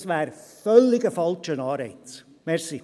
Das wäre ein völlig falscher Anreiz.